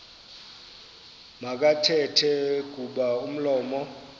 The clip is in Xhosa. makathethe kuba umlomo